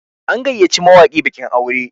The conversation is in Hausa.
an gayyaci mawaki bikin aure